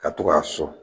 Ka to k'a sɔn